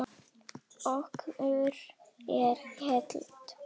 Okkur er heitt.